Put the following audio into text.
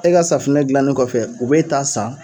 E ka safinɛ dilannen kɔfɛ u bɛ ta san.